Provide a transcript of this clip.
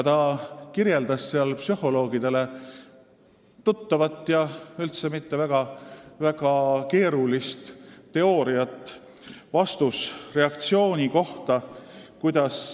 Ta kirjeldas seal psühholoogidele hästi teada ja üldse mitte väga keerulist teooriat vastusreaktsiooni kohta.